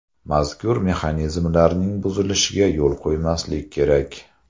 Mazkur mexanizmlarning buzilishiga yo‘l qo‘ymaslik kerak.